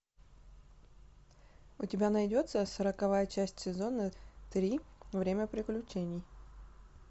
у тебя найдется сороковая часть сезона три время приключений